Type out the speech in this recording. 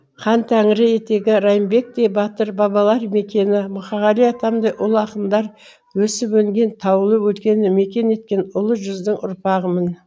хәнтәңірі етегі райымбектей батыр бабалар мекені мұқағали атамдай ұлы ақындар өсіп өнген таулы өлкені мекен еткен ұлы жүздің ұрпағымын